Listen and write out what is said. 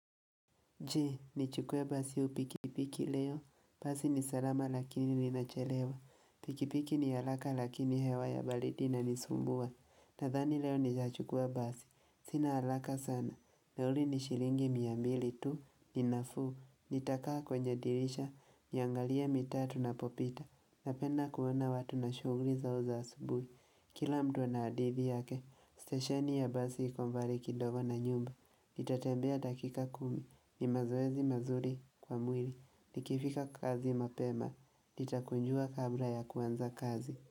Je, nichukue basi au pikipiki leo, basi ni salama lakini linachelewa, pikipiki ni haraka lakini hewa ya baridi inanisumbua, nadhani leo nitachukua basi, sina haraka sana, nauli ni shilingi mia mbili tu, ni nafuu, nitakaa kwenye dirisha, niangalie mitaa tunapopita, napenda kuona watu na shughuli zao za asubuhi, kila mtu ana hadithi yake, stesheni ya basi iko mbali kidogo na nyumba, nitatembea dakika kumi, ni mazoezi mazuri kwa mwili Nikifika kazi mapema Nitakunjua kabla ya kuanza kazi.